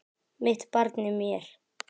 Mitt barn í mér.